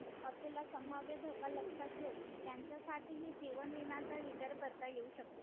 असलेला संभाव्य धोका लक्षात घेऊन त्यांच्यासाठी ही जीवन विम्याचा विचार करता येऊ शकतो